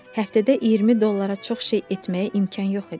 Həftədə 20 dollara çox şey etməyə imkan yox idi.